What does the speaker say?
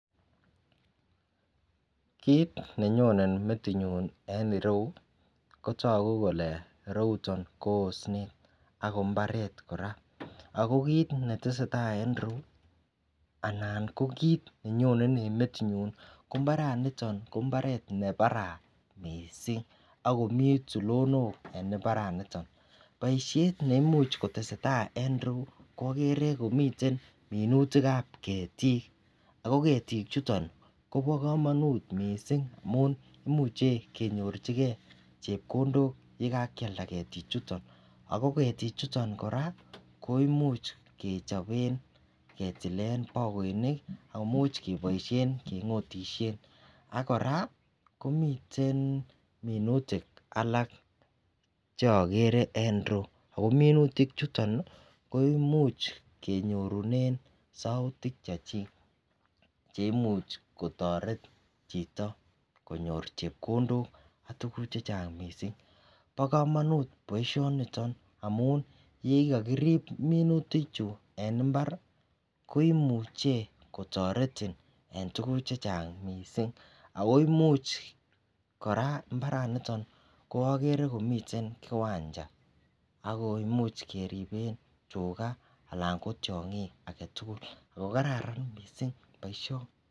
Kit nenyonen metinyun en ireyu kotagu Kole ireuton ko osnet akombaret koraa akokit netesetai en ireyu anan ko kit nenyonen en metit nyun en imbaraniteton ko mbaret nebaraa mising akomii tulonok en imbaraniton ako baishet neimuche kotestai en ireyu ko agere komiten minutik ab ketik ago ketik chuton kobakamanut mising amun imuchi konyorchigei chepkondok yekakialda ketik chuton akogetik chuton koraa koimuchi kechoben anan ketilen bakoinik akomuch kebaishen kengotishenbak koraa komiten minutik alak cheagere en ireyu akominutik chuton koimuche kenyorunen saotik chakiket cheimuch kotaret Chito konyor chepkondok AK tuguk chechang mising bakamanut baishet niton amun yekirib minutik Chu en imbar koimuche kotaretin en tuguk chechang mising akoimiche koraa mbaraniton agere komiten kiwancha akoimiche keriben tuga anan ko tiangik agetugul akokararan mising baishoniton